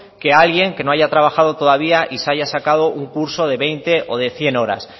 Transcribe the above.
que alguien que no haya trabajado todavía y se haya sacado un curso de veinte o de cien horas